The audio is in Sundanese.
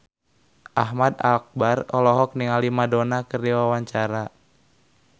Ahmad Albar olohok ningali Madonna keur diwawancara